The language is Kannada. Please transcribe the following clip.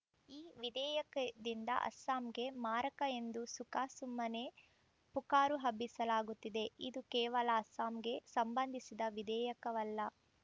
ಈ ವಿಧೇಯಕದಿಂದ ಅಸ್ಸಾಂಗೆ ಮಾರಕ ಎಂದು ಸುಖಾಸುಮ್ಮನೇ ಪುಕಾರು ಹಬ್ಬಿಸಲಾಗುತ್ತಿದೆ ಇದು ಕೇವಲ ಅಸ್ಸಾಂಗೆ ಸಂಬಂಧಿಸಿದ ವಿಧೇಯಕವಲ್ಲ